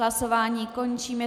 Hlasování končím.